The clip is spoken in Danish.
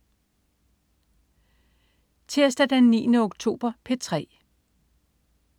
Tirsdag den 9. oktober - P3: